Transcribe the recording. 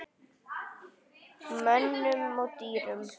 Mönnum og dýrum.